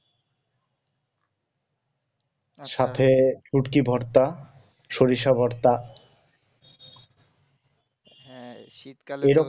উটকি ভর্তা সরিষা ভর্তা